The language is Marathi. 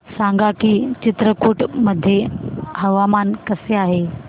सांगा की चित्रकूट मध्ये हवामान कसे आहे